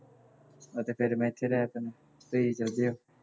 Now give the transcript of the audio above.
ਅਤੇ ਫੇਰ ਮੈਂ ਇੱਥੇ ਰਹਿ ਪੈਂਦਾ